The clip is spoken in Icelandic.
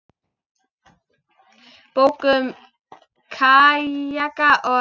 Bók um kajaka og.